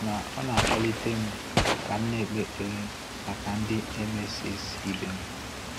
Ma ọ na-akpalitem ka m na-ekpe ekpere maka ndị emcees ibem.